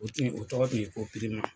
O tun yi o tɔgɔ tun ye ko pirima.